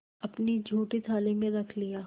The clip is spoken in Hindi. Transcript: अपनी जूठी थाली में रख लिया